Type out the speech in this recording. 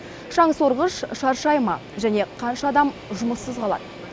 шаңсорғыш шаршай ма және қанша адам жұмыссыз қалады